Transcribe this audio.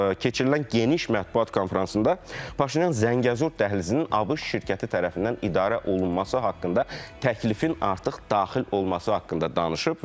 Keçirilən geniş mətbuat konfransında Paşinyan Zəngəzur dəhlizinin ABŞ şirkəti tərəfindən idarə olunması haqqında təklifin artıq daxil olması haqqında danışıb.